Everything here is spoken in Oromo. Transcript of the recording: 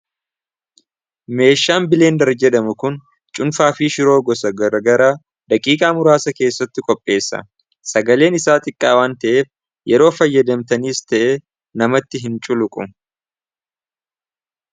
Meeshaan bileen jedhamu kun cunfaa fii shiroo gosa grgara daqiiqaa muraasa keessatti qopheessa sagaleen isaa xiqqaawan ta'eef yeroo fayyadamtaniis ta'e namatti hin culuqu.